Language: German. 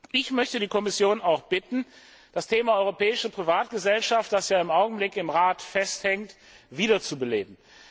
Ich möchte die Kommission auch bitten, das Thema europäische Privatgesellschaft, das ja im Augenblick im Rat festhängt, wiederzubeleben.